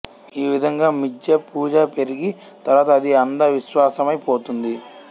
ఈ విధంగా మిధ్యా పూజ పెరిగి తరువాత అది అంధ విశ్వాసమై పోతుంది